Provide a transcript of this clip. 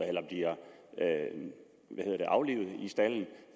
eller bliver aflivet i staldene